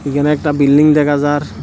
এখানে একটা বিল্ডিং দেখা যার ।